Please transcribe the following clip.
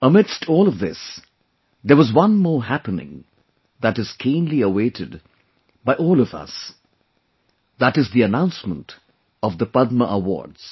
Amidst all of this, there was one more happening that is keenly awaited by all of us that is the announcement of the Padma Awards